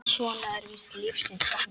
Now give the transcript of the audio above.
Svona er víst lífsins gangur.